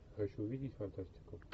хочу увидеть фантастику